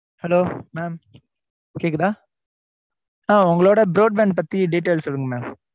Hello, mam hello இப்ப கேக்குதா ஆஹ் உங்களோட broad bank பத்தி details சொல்லுங்க mam